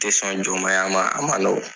Tɛ sɔn jɔnmaaya ma a man nɔgɔ.